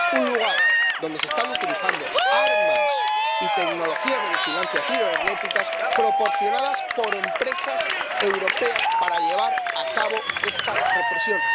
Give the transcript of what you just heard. un lugar donde se están utilizando armas y tecnologías de vigilancia cibernéticas proporcionadas por empresas europeas para llevar a cabo esta represión.